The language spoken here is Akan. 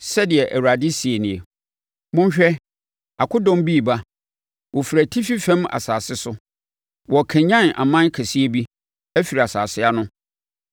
Sɛdeɛ Awurade seɛ nie: “Monhwɛ, akodɔm bi reba, wɔfiri atifi fam asase so; wɔrekanyane ɔman kɛseɛ bi afiri nsase ano.